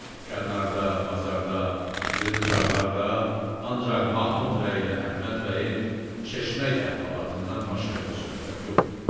Dükanlarda, bazarda, yığıncaqlarda ancaq Mahmud bəylə Əhməd bəyin çeşmək əhvalatından başqa bir söhbət yox idi.